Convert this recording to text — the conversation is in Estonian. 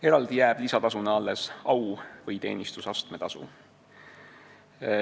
Eraldi jääb lisatasuna alles au- või teenistusastme tasu.